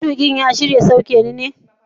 Matuƙin ya shirya sauke ne?